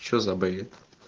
что за бред